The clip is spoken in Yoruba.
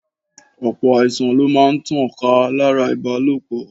Ọ̀pọ̀ àìsàn lo máa ń tàn ká láti ara ìbálòpọ̀.